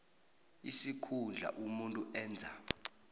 isikhundla umuntu enza